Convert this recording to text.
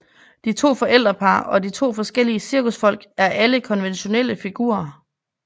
De to forældrepar og de forskellige cirkusfolk er alle konventionelle figurer